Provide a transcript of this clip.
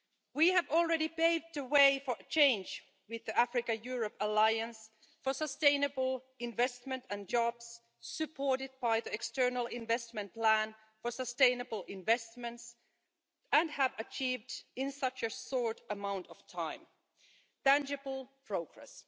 We have already paved the way for change with the Africa-Europe Alliance for Sustainable Investment and Jobs, supported by the External Investment Plan for sustainable investments, and have achieved, in such a short amount of time, tangible progress.